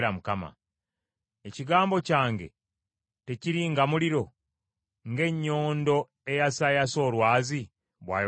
“Ekigambo kyange tekiri nga muliro, ng’ennyondo eyasaayasa olwazi?” bw’ayogera Mukama .